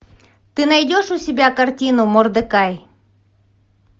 ты найдешь у себя картину мордекай